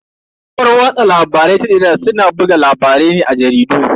Kafar watsa labarai ta jarida suna buga labarai ne a jaridu.